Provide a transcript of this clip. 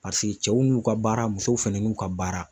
cɛw n'u ka baara musow fɛnɛ n'u ka baara.